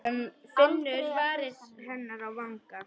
Finnur varir hennar á vanga.